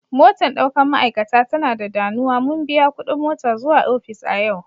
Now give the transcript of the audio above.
Motan daukan ma'aikata ta na da danuwa, mun biya kudin mota zuwa ofis a yau.